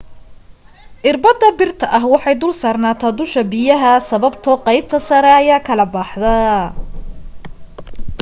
irbada birta ah waxay dul saarnataa dusha biyaha sababtoo aqeybta sare ayaa kala baxda